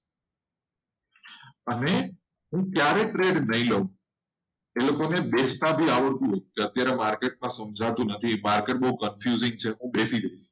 અને ત્યારે trade નય લવ એ લોકો ને બેચતા બી આવડતું હૂય market માં સમજાતું નથી. market બહુ confusion છે